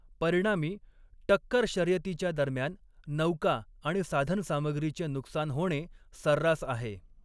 परिणामी, टक्कर शर्यतीच्या दरम्यान नौका आणि साधनसामग्रीचे नुकसान होणे सर्रास आहे.